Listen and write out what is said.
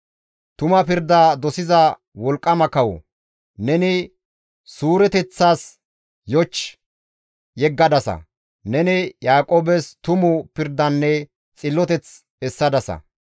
Tuma pirda dosiza wolqqama kawo! neni suureteththas yoch yeggadasa; neni Yaaqoobes tumu pirdanne xilloteth essadasa.